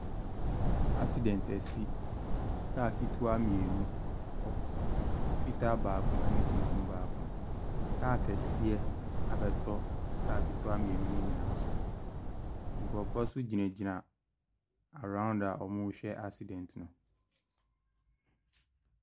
Accident asi. Car ketewa mmienu, fitaa baako ne tuntum baako. Car kɛseɛ abɛtɔ kaa nketewa mmienu no nyinaa so. Nkurɔfoɔ nso gyinagyina arouns a wɔrehyɛ accident no.